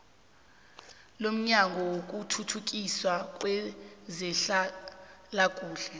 lomnyango wokuthuthukiswa kwezehlalakuhle